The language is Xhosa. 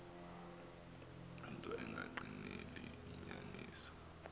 into engagqineli inyaniso